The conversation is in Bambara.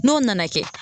N'o nana kɛ